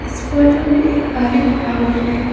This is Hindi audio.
इस फोटो में एक खाली ग्राउंड है।